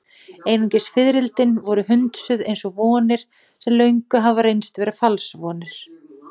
Einungis fiðrildin voru hundsuð, eins og vonir sem löngu hafa reynst vera falsvonir.